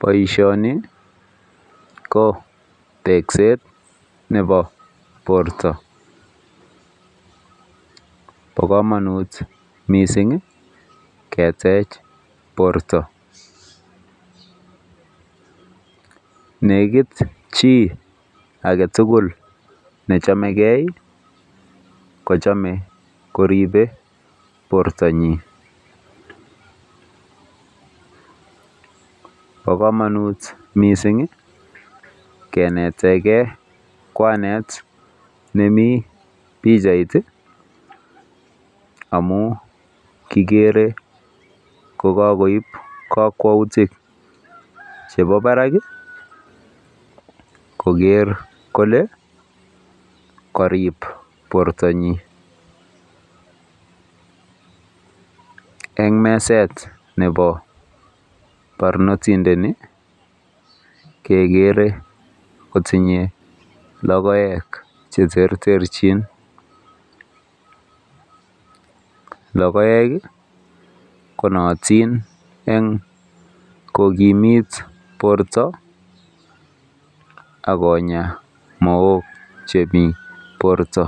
Boishoni ko tekset nebo borto. Bokomonut mising ketech borto. Negit chi agetugul nechamegei kochamei koribei bortanyi. Bokomanut mising kenetegei kwanet nemi pichait amu kigere kokakoip kakwoutik chebo barak koker kole karip bortanyi. Eng meset nebo barnotindeni kekere kotinyei logoek che terterchin. Logoek konaatin eng kokimit borta ak konya mook chemi borta.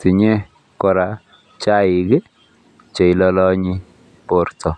Tinyei kora chaik che ilolonyi borta.